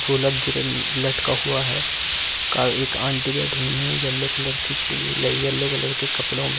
झोलग गिरन लटका हुआ है का एक आंटी बैठी हुई है एल्‍लो कलर की टील है एल्‍लो कलर के कपड़ों में ।